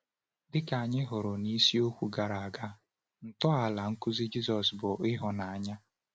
Dịka anyị hụrụ n’isiokwu gara aga, ntọala nkuzi Jisọs bụ ịhụnanya.